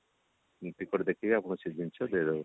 ticket ଦେଖିକି ଆପଣଙ୍କୁ ସେ ଜିନିଷ ଦିଆଯିବ